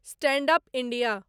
stand up India